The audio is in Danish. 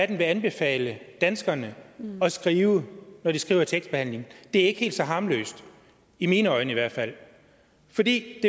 det vil anbefale danskerne at skrive når de skriver i tekstbehandling er ikke helt så harmløst i mine øjne i hvert fald for det